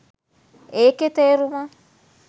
ඒකෙ තේරුම